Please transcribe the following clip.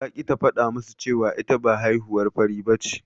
Ta ƙi ta faɗa musu cewa ita ba haihuwar fari bace.